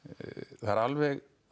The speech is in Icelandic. það er alveg á